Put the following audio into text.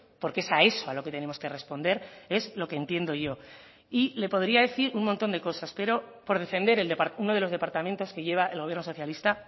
porque es a eso a lo que tenemos que responder es lo que entiendo yo y le podría decir un montón de cosas pero por defender uno de los departamentos que lleva el gobierno socialista